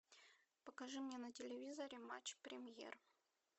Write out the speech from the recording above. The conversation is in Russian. покажи мне на телевизоре матч премьер